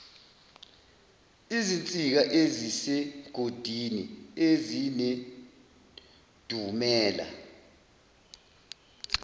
izinsika ezisemgodini ezinedumela